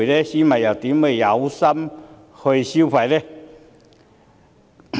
市民又怎會有心情消費呢？